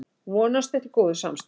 Vonast eftir góðu samstarfi